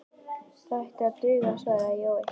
Það ætti að duga, svaraði Jói.